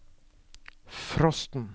frosten